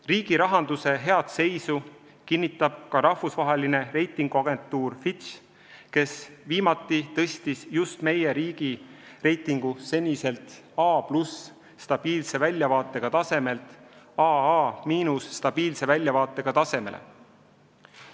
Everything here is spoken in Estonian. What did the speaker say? Riigi rahanduse head seisu kinnitab ka rahvusvaheline reitinguagentuur Fitch, kes viimati tõstis meie riigi reitingu seniselt A+ stabiilse väljavaatega tasemelt AA- stabiilse väljavaatega tasemele.